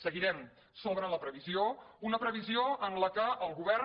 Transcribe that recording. seguirem sobre la previsió una previsió en la qual el govern